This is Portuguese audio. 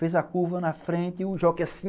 Fez a curva na frente e o jockey assim...